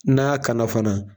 N'an ya kana fana